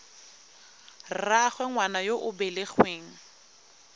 rraagwe ngwana yo o belegweng